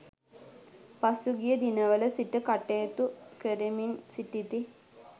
පසුගිය දිනවල සිට කටයුතු කරමින් සිටිති.